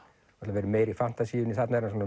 verið meira í þarna er hann